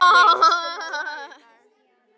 Sörli, spilaðu lag.